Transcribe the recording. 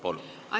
Palun!